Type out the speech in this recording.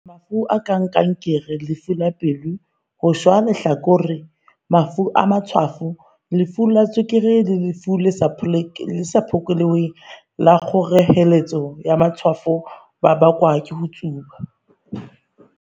"Mafu a kang kankere, lefu la pelo, ho shwa lehlakore, mafu a matshwafo, lefu la tswekere le lefu le sa phekoleheng la kgoreletso ya matshwafo a ka bakwa ke ho tsuba."